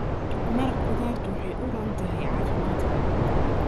Maraq khudaartu waxay u roon tahay caafimaadka.